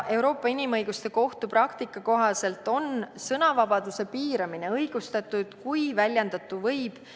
Euroopa Inimõiguste Kohtu praktika kohaselt on sõnavabaduse piiramine õigustatud, kui väljendatu võib ...